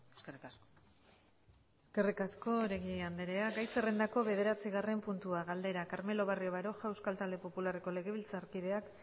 eskerrik asko eskerrik asko oregi andrea gai zerrendako bederatzigarren puntua galdera carmelo barrio baroja euskal talde popularreko legebiltzarkideak